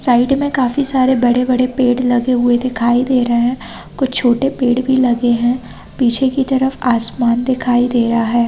Side में काफी सारे बड़े - बड़े पेड़ लगे हुए दिखाई दे रहे है कुछ छोटे पेड़ भी लगे है पीछे की तरफ आसमान दिखाई दे रहा हैं।